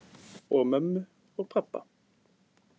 Og mömmu og pabba.